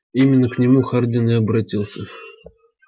именно к нему хардин и обратился